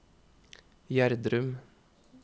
Gjerdrum